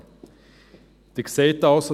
Sie sehen also: